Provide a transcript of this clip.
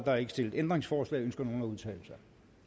er ikke stillet ændringsforslag ønsker nogen at udtale sig